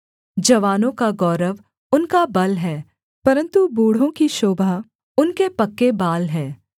जवानों का गौरव उनका बल है परन्तु बूढ़ों की शोभा उनके पक्के बाल हैं